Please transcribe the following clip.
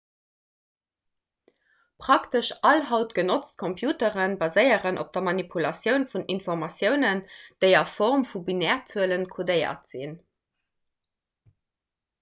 praktesch all haut genotzt computere baséieren op der manipulatioun vun informatiounen déi a form vu binärzuele kodéiert sinn